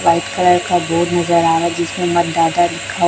white colour का board नजर आ रहा हैं जिसपे लिखा--